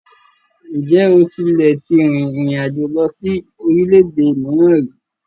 Ǹjẹ́ o tílẹ̀ tí rìn ìrin àjò lọ sí orílẹ̀-èdè mìíràn ríi?